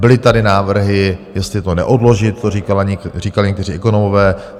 Byly tady návrhy, jestli to neodložit, to říkali někteří ekonomové.